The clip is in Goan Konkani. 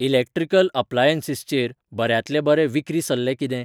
इलेक्ट्रिकल अप्लायंन्ससचेर बऱ्यांतले बरे विक्री सल्ले कितें?